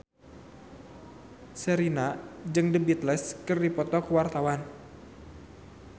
Sherina jeung The Beatles keur dipoto ku wartawan